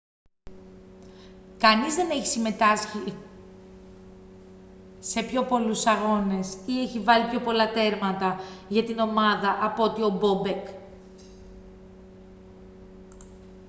κανείς δεν έχει συμμετάσχει σε πιο πολλούς αγώνες ή έχει βάλει πιο πολλά τέρματα για την ομάδα από ότι ο μπόμπεκ